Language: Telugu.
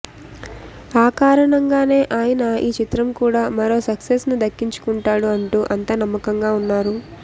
ఆ కారణంగానే ఆయన ఈ చిత్రం కూడా మరో సక్సెస్ను దక్కించుకుంటాడు అంటూ అంతా నమ్మకంగా ఉన్నారు